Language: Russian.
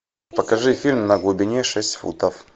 покажи фильм на глубине шесть футов